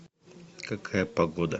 какая погода